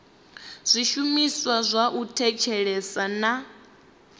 zwishumiswa zwa u thetshelesa na